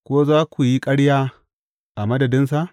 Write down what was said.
Ko za ku yi ƙarya a madadinsa?